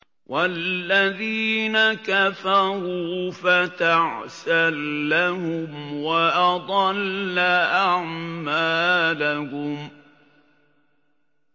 وَالَّذِينَ كَفَرُوا فَتَعْسًا لَّهُمْ وَأَضَلَّ أَعْمَالَهُمْ